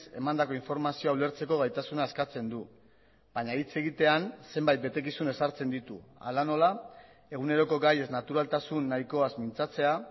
emandako informazioa ulertzeko gaitasuna eskatzen du baina hitz egitean zenbait betekizun ezartzen ditu hala nola eguneroko gaiez naturaltasun nahikoaz mintzatzea